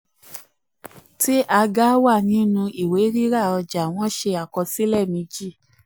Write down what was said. tí aga wà nínú ìwé ríra ríra ọjà wọ́n ṣe àkọsílẹ méjì.